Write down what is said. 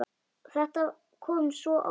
Þetta kom svo óvænt.